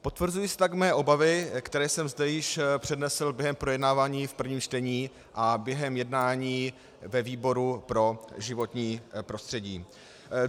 Potvrzují se tak mé obavy, které jsem zde již přednesl během projednávání v prvním čtení a během jednání ve výboru pro životní prostředí.